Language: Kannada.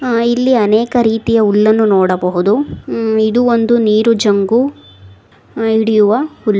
ಆಹ್ ಇಲ್ಲಿ ಅನೇಕ ರೀತಿಯ ಹುಲ್ಲನ್ನು ನೋಡಬಹುದು ಇದು ಒಂದು ನೀರು ಜಂಬು ಹಿಡಿಯುವ ಹುಲ್ಲು.